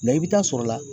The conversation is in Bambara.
i bɛ taa sɔrɔla